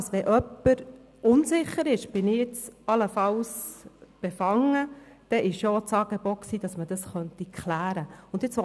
Wenn jemand unsicher ist, ob er oder sie allenfalls befangen ist, dann besteht das Angebot, dies abklären zu lassen.